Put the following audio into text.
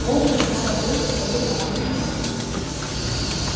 кэллнер снова был в своей парадной форме